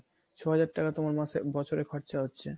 ছ হাজার টাকা তোমার মাসে বছরে খরচা হচ্ছে